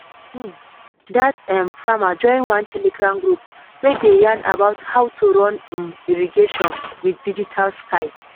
um that um farmer join one telegram group wey dey yarn about how to run um irrigation with digital style.